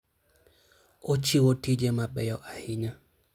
Ochiwo tije mabeyo ahinya.